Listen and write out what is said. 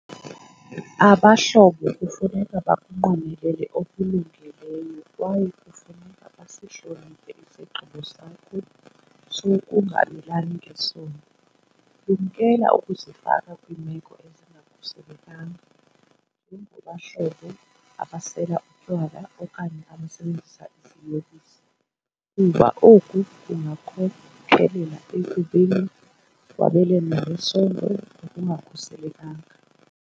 Abahlobo kufuneka bakunqwenelele okulungileyo kwaye kufuneka basihloniphe isigqibo sakho sokungabelani ngesondo. Lumkela ukuzifaka kwiimeko ezingakhuselekanga, njengabahlobo abasela utywala okanye abasebenzisa iziyobisi kuba oku kungakhokelela ekubeni kwabelanwe ngesondo ngokungakhuselekanga.